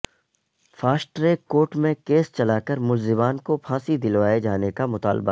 fast track court میں case چلاکر ملزمان کو پھانسی دلوائے جانے کا مطالبہ